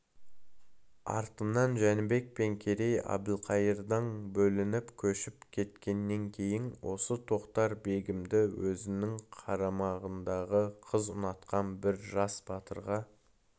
артынан жәнібек пен керей әбілқайырдан бөлініп көшіп кеткеннен кейін осы тоқтар-бегімді өзінің қарамағындағы қыз ұнатқан бір жас батырға